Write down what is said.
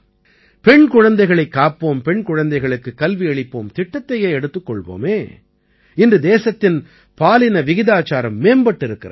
பெண் குழந்தைகளைக் காப்போம் பெண் குழந்தைகளுக்குக் கல்வியளிப்போம் திட்டத்தையே எடுத்துக் கொள்வோமே இன்று தேசத்தின் பாலின விகிதாச்சாரம் மேம்பட்டிருக்கிறது